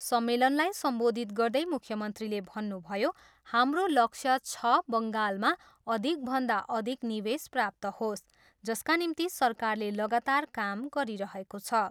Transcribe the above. सम्मेलनलाई सम्बोधित गर्दै मुख्यमन्त्रीले भन्नुभयो, हाम्रो लक्ष्य छ बङ्गालमा अधिकभन्दा अधिक निवेश प्राप्त होस्, जसका निम्ति सरकारले लगातार काम गरिरहेको छ।